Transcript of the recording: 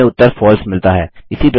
हमें उत्तर फलसे मिलता है